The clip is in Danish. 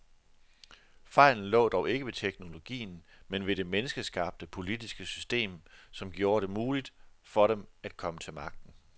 Fejlen lå dog ikke ved teknologien, men ved det menneskeskabte, politiske system, som gjorde det muligt for dem at komme til magten.